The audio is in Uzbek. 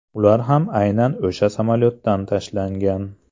Ular ham aynan o‘sha samolyotdan tashlangan.